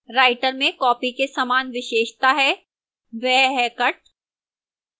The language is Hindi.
writer में copy के समान विशेषता है वह है cut